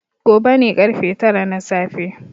Gobe ne ƙarfe tara na safe.